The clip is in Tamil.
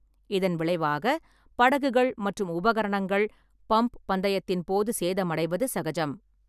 இதன் விளைவாக, படகுகள் மற்றும் உபகரணங்கள் பம்ப் பந்தயத்தின் போது சேதமடைவது சகஜம்.